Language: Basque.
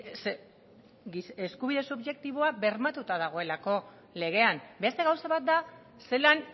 zeren eskubide subjektiboa bermatuta dagoelako legean beste gauza bat da zelan